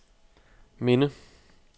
minde